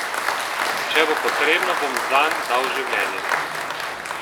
Če bo potrebno, bom zanj dal življenje.